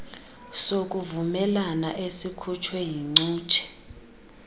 sokuvumelana esikhutshwe yincutshe